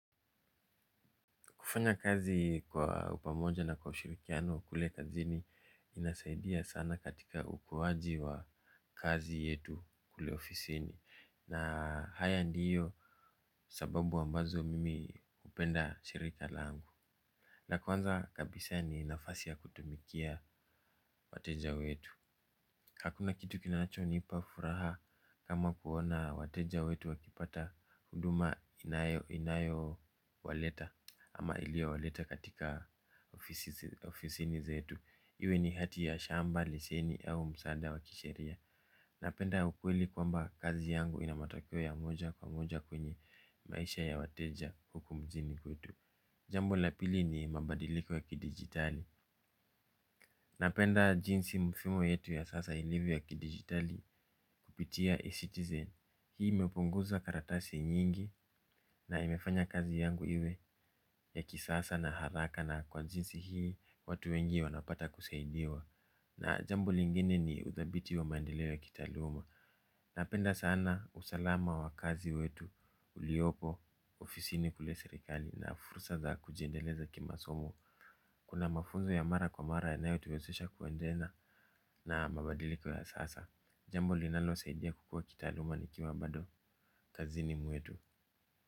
Kufanya kazi kwa upamoja na kwa ushirikiano kule kazini inasaidia sana katika ukuwaji wa kazi yetu kule ofisini. Na haya ndiyo sababu ambazo mimi hupenda shirika langu. Na kwanza kabisa ni nafasi ya kutumikia wateja wetu. Hakuna kitu kinachonipa furaha kama kuona wateja wetu wakipata huduma inayowaleta ama iliyowaleta katika ofisini zetu. Iwe ni hati ya shamba, liseni au msaada wa kisheria. Napenda ukweli kwamba kazi yangu ina matokeo ya moja kwa moja kwenye maisha ya wateja huku nchini kwetu. Jambo la pili ni mabadiliko ya kidigitali. Napenda jinsi mifumo yetu ya sasa ilivyo ya kidigitali kupitia e-citizen. Hii imepunguza karatasi nyingi na imefanya kazi yangu iwe ya kisasa na haraka na kwa jinsi hii watu wengi wanapata kusaidiwa. Na jambo lingine ni uthabiti wa maendeleo ya kitaaluma. Napenda sana usalama wa kazi wetu uliopo ofisini kule serikali na fursa za kujiendeleza kimasomo. Kuna mafunzo ya mara kwa mara inayotuwezesha kuendelea a mabadiliko ya sasa. Jambo linalosaidia kukua kitaaluma nikiwa bado kazini mwetu.